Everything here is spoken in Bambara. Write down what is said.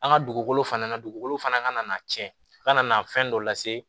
An ka dugukolo fana dugukolo fana ka na tiɲɛ kana fɛn dɔ lase